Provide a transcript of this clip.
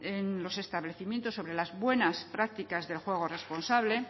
en los establecimientos de las buenas prácticas de juego responsable